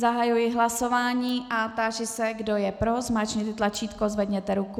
Zahajuji hlasování a táži se, kdo je pro, zmáčkněte tlačítko, zvedněte ruku.